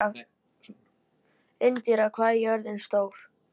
Indíra, hvað er jörðin stór?